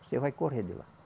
Você vai correr de lá.